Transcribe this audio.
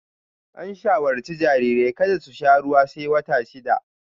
An shawarci jarirai kada su sha ruwa sai wata shida